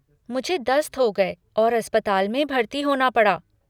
मुझे दस्त हो गये और अस्पताल में भर्ती होना पड़ा।